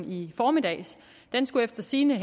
i formiddags efter sigende